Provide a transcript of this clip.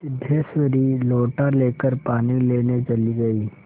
सिद्धेश्वरी लोटा लेकर पानी लेने चली गई